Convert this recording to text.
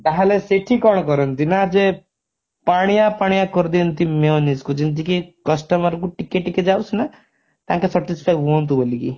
ତାହେଲେ ସେଇଠି କଣ କରନ୍ତି ନା ଯେ ପାଣିଆ ପାଣିଆ କରିଦିଅନ୍ତି mayonnaise କୁ ଯେମିତିକି customer କୁ ଟିକେ ଟିକେ ଯାଉସିନା ତାଙ୍କେ satisfy ହୁଅନ୍ତୁ ବୋଲିକି